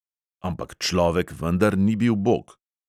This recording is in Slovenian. "Ampak človek vendar ni bil bog."